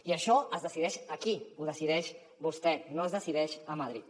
i això es decideix aquí ho decideix vostè no es decideix a madrid